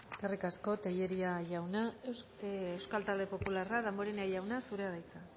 eskerrik asko tellería jauna euskal talde popularra damborenea jauna zurea da hitza